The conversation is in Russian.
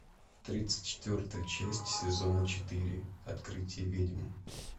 тридцать четвертая часть сезона четыре открытие ведьм